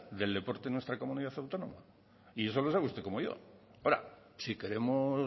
del deporte en nuestra comunidad autónoma y eso lo sabe usted como yo ahora si queremos